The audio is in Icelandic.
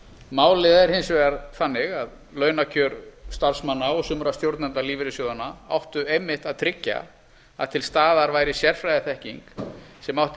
málið er hins vegar þannig að launakjör starfsmanna og sumra stjórnenda lífeyrissjóðanna áttu einmitt að tryggja að til staðar væri sérfræðiþekking sem átti